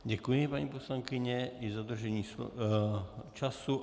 Děkuji, paní poslankyně, i za dodržení času.